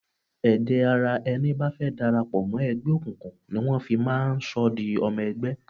Ẹ̀jẹ̀ ara ẹni bá fẹ́ darapo mọ́ ẹgbẹ́ òkùnkùn ni wọ́n fi máa ń sọ di ọmọ ẹgbẹ́.